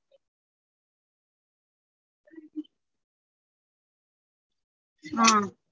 ஆஹ்